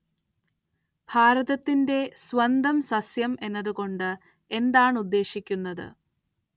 ഭാരതത്തിന്റെ സ്വന്തം സസ്യം എന്നതു കൊണ്ട് എന്താണ്‌ ഉദ്ദേശിക്കുന്നത്